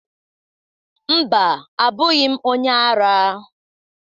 Mba, abụghị m onye ara